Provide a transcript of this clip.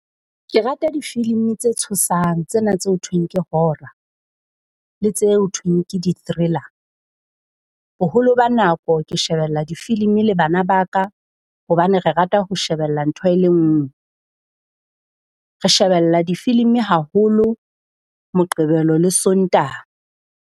Ke rata difilimi tse tshosang tsena tse ho thweng ke horror le tse ho thweng ke di-thriller. Boholo ba nako ke shebella difilimi le bana ba ka hobane re rata ho shebella ntho e le nngwe. Re shebella difilimi haholo Moqebelo le Sontaha.